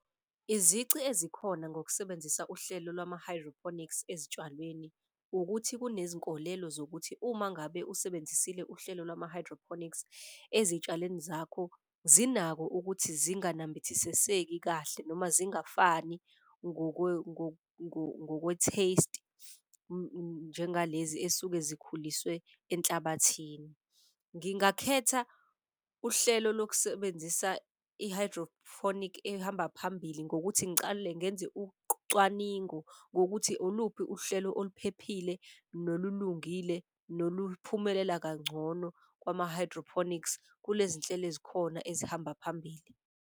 Izici ezikhona ngokusebenzisa uhlelo lwama-hydroponics ezitshalweni ukuthi kunezinkolelo zokuthi, uma ngabe uzisebenzisile uhlelo lwami hydroponics ezitshalweni zakho, zinako ukuthi zinganambithisiseki kahle noma zingafani ngokwe-taste njengalezi esuke zikhuliswe enhlabathini. Ngingakhetha uhlelo lokusebenzisa i-hydrophonic ehamba phambili ngokuthi ngicale ngenze ucwaningo ngokuthi oluphi uhlelo oluphephile, nolulungile, noluphumelela kangcono kwama-hydroponics kulezi nhlelo ezikhona ezihamba phambili.